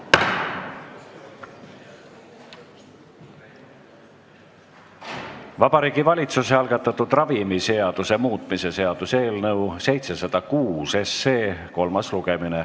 Vabariigi Valitsuse algatatud ravimiseaduse muutmise seaduse eelnõu 706 kolmas lugemine.